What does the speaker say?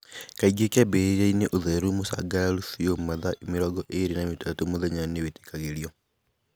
Kaingĩ kĩambĩrĩria-inĩ ũtheri mũcangararu biũ mathaa mĩrongo ĩĩrĩ na matatũ mũthenya nĩwĩtĩkagĩrio.